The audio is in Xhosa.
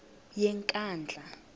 yenkandla